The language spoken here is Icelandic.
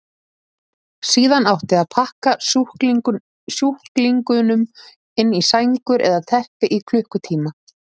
Síðan átti að pakka sjúklingunum inn í sængur eða teppi í klukkutíma.